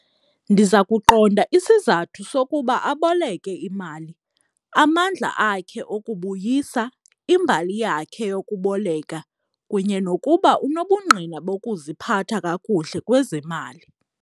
Ndiza kuqonda isizathu sokuba aboleke imali, amandla akhe okukubuyisa, imbali yakhe yokuboleka kunye nokuba unobungqina bokuziphatha kakuhle kwezemali.